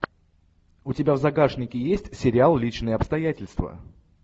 у тебя в загашнике есть сериал личные обстоятельства